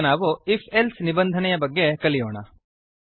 ಈಗ ನಾವು if else ನಿಬಂಧನೆಯ ಬಗ್ಗೆ ಕಲಿಯೋಣ